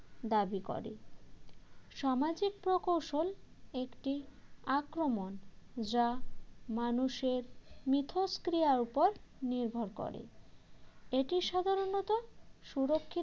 দাবি করে সামাজিক প্রকৌশল একটি আক্রমণ যা মানুষের মিথষ্ক্রিয়ার উপর নির্ভর করে এটি সাধারণত সুরক্ষিত